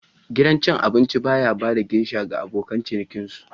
Gidan cin abinci ba ya ba da geisha ga abokan cinikin su.